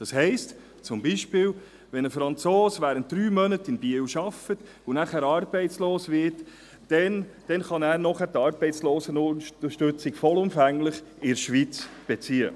Das heisst, dass zum Beispiel ein Franzose, der während drei Monaten in Biel arbeitet und danach arbeitslos wird, in der Schweiz vollumfänglich Arbeitslosenunterstützung beziehen kann.